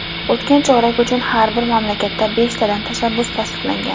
O‘tgan chorak uchun har bir mamlakatda beshtadan tashabbus tasdiqlangan.